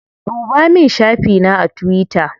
Ɗuba min shafi na a tuwita.